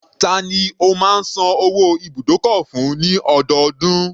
Tani o má ń san owó ibùdókọ̀ fún ní ọdọọdún?